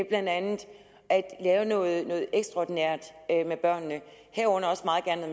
blandt andet at lave noget ekstraordinært med børnene herunder også meget gerne